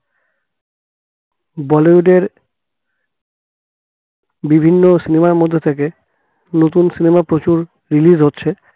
বলিউডের বিভিন্ন cinema র মধ্যে থেকে নতুন cinema প্রচুর release হচ্ছে